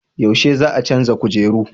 Yaushe za a canza kujeru?